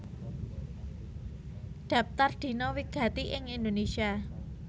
Dhaptar Dina wigati ing Indonésia